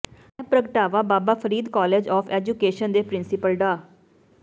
ਇਹ ਪ੍ਰਗਟਾਵਾ Baba Farid college of education ਦੇ ਪ੍ਰਿੰਸੀਪਲ ਡਾ